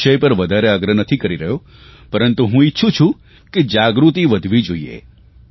હું આ વિષય પર વધારે આગ્રહ નથી કરી રહ્યો પરંતુ હું ઇચ્છું છું કે જાગૃતિ વધવી જોઇએ